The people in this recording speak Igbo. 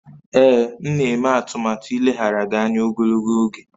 Ee, m na-eme atụmatụ ileghara gị anya ogologo oge